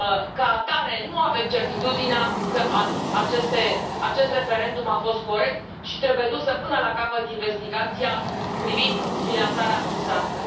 Ca atare, nu avem certitudinea că acest referendum a fost corect și trebuie dusă până la capăt investigația privind finanțarea rusească.